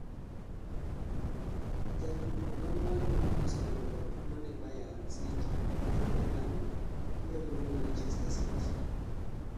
Jatuko ma mwalo ma osebedo katugo ni Bayern City mar Germany biro riwre gi manchester City